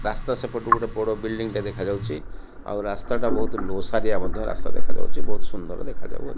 ରାସ୍ତା ସେପଟୁ ଗୋଟେ ବଡ ବିଲଡିଂ ଟେ ଦେଖାଯାଉଚି ଆଉ ରାସ୍ତାଟା ବହୁତ ଓସାରିଆ ମଧ୍ୟ ରାସ୍ତା ଦେଖାଯାଉଚି ବହୁତ ସୁନ୍ଦର ଦେଖାଯାଉ ଅ --